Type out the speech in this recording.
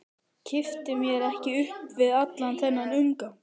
Kippti mér ekki upp við allan þennan umgang.